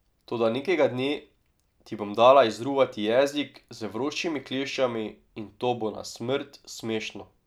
Toda nekega dne ti bom dala izruvati jezik z vročimi kleščami, in to bo na smrt smešno.